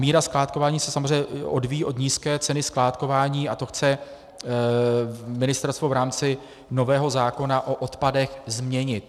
Míra skládkování se samozřejmě odvíjí od nízké ceny skládkování a to chce ministerstvo v rámci nového zákona o odpadech změnit.